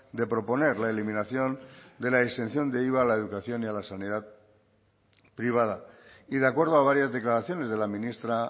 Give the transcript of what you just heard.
de proponer la eliminación de la exención de iva a la educación y a la sanidad privada y de acuerdo a varias declaraciones de la ministra